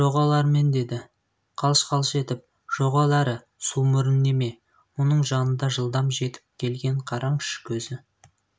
жоғал әрмен деді қалш-қалш етіп жоғал әрі сумұрын неме бұның жанына жылдам жетіп келген қараңызшы көзі